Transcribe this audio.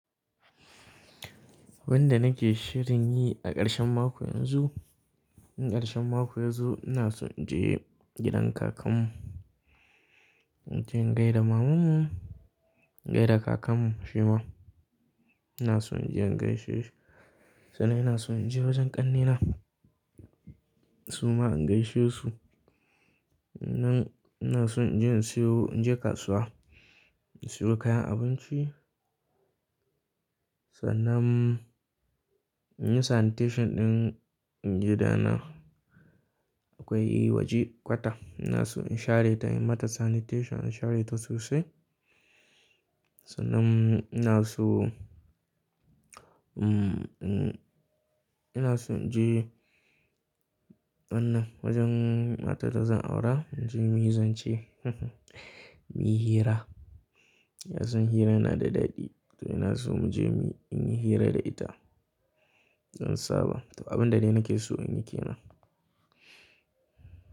Wanda nake shirin yi a ƙarshen mako yanzu, ƙarshen mako yanzu ina so in je gidan kakan mu. Inje in gaida mamanmu gaida kakan mu shi ma. Ina so inje in gaishe shi. Sannan ina son inje wajen ƙannena su ma in gaishe su. Sannan ina son inje in siyo, inje kasuwa in siyo kayan abinci. Sannan in yi sanitation ɗin gidana. Akwai waje kwata ina so in share ta, in mata sanitation, in share ta sosai. Sannan ina so, um, um, ina so in je wannan wajen matar da zan aura. Inje muyi zance, muyi hira. Ka san hira yana da daɗi. To ina so muje muyi, inyi hira da ita in saba. To abin da dai nake so in yi ke nan.